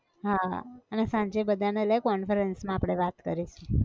હા, અને સાંજે બધા ને લે conference માં આપણે વાત કરીએ